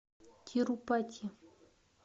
тирупати